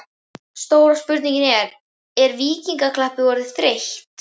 Stóra spurningin var: Er Víkingaklappið orðið þreytt?